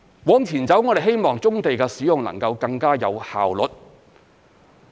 往前走，我們希望棕地的使用能夠更加有效率。